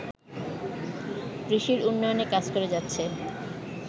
কৃষির উন্নয়নে কাজ করে যাচ্ছে